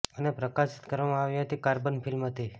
અને પ્રકાશિત કરવામાં આવી હતી કાર્બન ફિલ્મ હતી